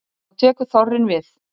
Þá tekur þorrinn við.